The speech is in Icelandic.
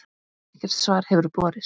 Ekkert svar hefur borist.